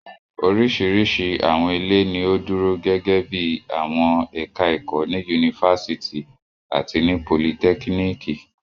Oríṣiríṣi àwọn ilé ni ó dúró gẹ́gẹ́ bí i àwọn ẹ̀ka-ẹ̀kọ́ ní yunifásitì àti ní politẹ́kíníkì.